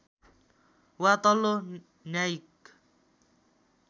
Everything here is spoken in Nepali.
वा तल्लो न्यायिक